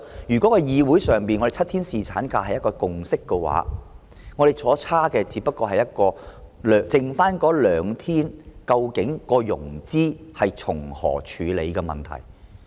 如果在議會裏7天侍產假是一個共識，我們相差的，只是就餘下兩天如何處理融資的問題。